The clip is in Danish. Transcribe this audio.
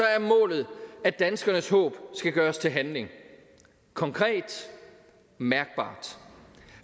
er målet at danskernes håb skal gøres til handling konkret og mærkbart